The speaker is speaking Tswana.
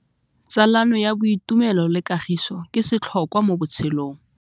Tsalano ya boitumelo le kagiso ke setlhôkwa mo botshelong.